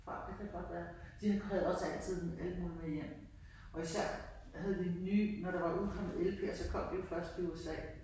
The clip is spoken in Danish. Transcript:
Faktisk, det kan godt være. De havde også altid alt muligt med hjem og især havde de nye, når der var udkommet LPer så kom de jo først i USA